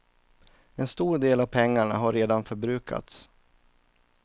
En stor del av pengarna har redan förbrukats.